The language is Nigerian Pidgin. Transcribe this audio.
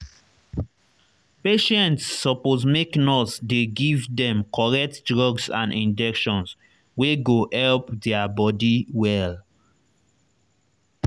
patients suppose make nurse dey give dem correct drugs and injection wey go help their body well.